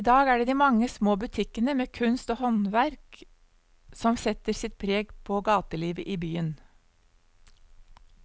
I dag er det de mange små butikkene med kunst og håndverk som setter sitt preg på gatelivet i byen.